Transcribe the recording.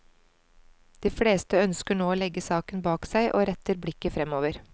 De fleste ønsker nå å legge saken bak seg og retter blikket fremover.